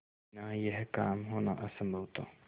बिना यह काम होना असम्भव था